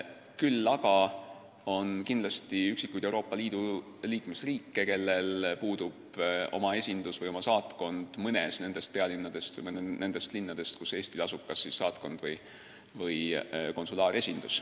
Küll aga on kindlasti üksikuid Euroopa Liidu riike, kellel puudub oma esindus mõnes nendest pealinnadest või nendest linnadest, kus Eestil asub kas siis saatkond või konsulaaresindus.